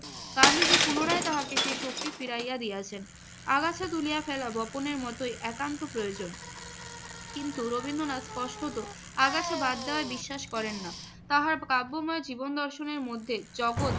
গান্ধীজি পুনরায় তাহাকে সেই শক্তি ফিরাইয়া দিয়াছেন। আগাছা তুলিয়া ফেলা বপনের মতই একান্ত প্রয়োজন। কিন্তু রবীন্দ্রনাথ স্পষ্টত আগাছা বাদ দেওয়ায় বিশ্বাস করেন না। তাহার কাব্যময় জীবন দর্শনের মধ্যে জগত